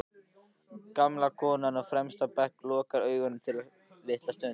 Gamla konan á fremsta bekk lokar augunum litla stund.